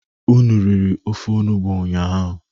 Unu riri ofe onugbu ụnyaahụ?